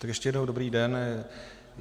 Tak ještě jednou dobrý den.